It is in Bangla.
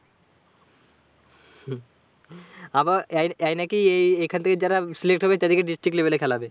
আবার এ এ নাকি এ এখান থেকে যারা select হবে তাদিকে district level এ খেলাবে।